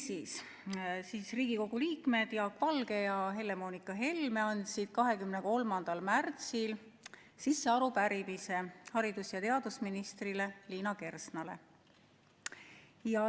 Niisiis, Riigikogu liikmed Jaak Valge ja Helle-Moonika Helme andsid 23. märtsil sisse arupärimise haridus- ja teadusminister Liina Kersnale.